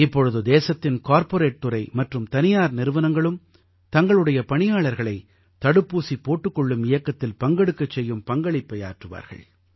இப்பொழுது தேசத்தின் கார்ப்பரேட் துறை மற்றும் தனியார் நிறுவனங்களும் தங்களுடைய பணியாளர்களை தடுப்பூசி போட்டுக் கொள்ளும் இயக்கத்தில் பங்கெடுக்கச் செய்யும் பங்களிப்பை ஆற்றுவார்கள்